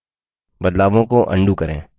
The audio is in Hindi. बदलावों को undo करें